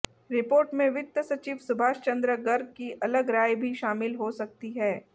report में वित्त सचिव सुभाष चंद्र गर्ग की अलग राय भी शामिल हो सकती है